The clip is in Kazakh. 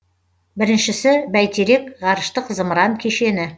біріншісі бәйтерек ғарыштық зымыран кешені